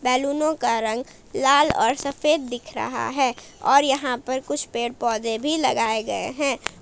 बैलूनों का रंग लाल और सफेद दिख रहा है और यहाँ पर कुछ पेड़ पौधे भी लगाए गए हैं।